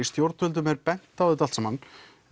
stjórnvöldum var bent á þetta allt saman